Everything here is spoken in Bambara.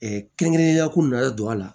kɛrɛnkɛrɛnnenya ko nalen don a la